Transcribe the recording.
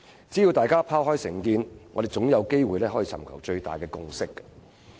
只要大家拋開成見，我們總有機會尋求最大共識。